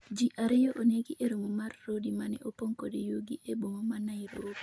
ji ariyo onegi e romo mar Rodi mane opong' kod yugi e boma ma Nairobi